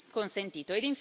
consentito.